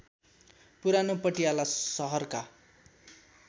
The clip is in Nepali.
पुरानो पटियाला सहरका